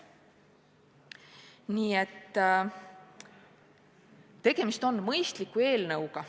Nii et tegemist on mõistliku eelnõuga.